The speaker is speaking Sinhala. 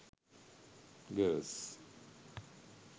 girls